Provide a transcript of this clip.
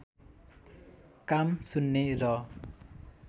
काम सुन्ने र